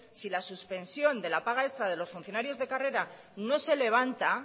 si la suspensión de la paga extra de los funcionarios de carrera no se levanta